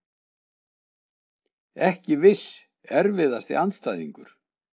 Ekki viss Erfiðasti andstæðingur?